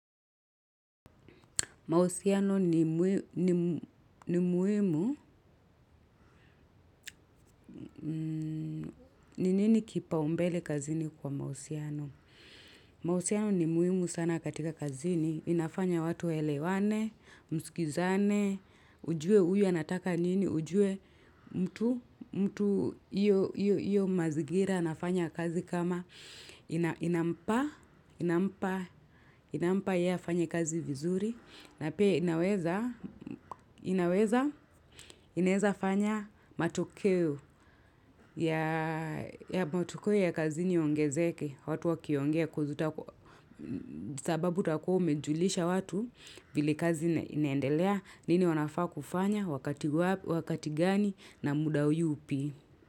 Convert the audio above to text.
Mahusiano ni muhimu ni nini kipaumbele kazini kwa mahusiano? Mausiano ni muhimu sana katika kazini. Inafanya watu waelewane, mskizane, ujue huyu anataka nini, ujue mtu, mtu hiyo mazingira anafanya kazi kama. Inampa yeye afanye kazi vizuri na pia inaweza, inaweza inaweza fanya matokeo ya kazini yaongezeke watu wakiongea sababu utakuwa umejulisha watu vile kazi inaendelea, nini wanafaa kufanya, wakati gani na muda yupi.